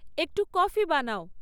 একটু কফি বানাও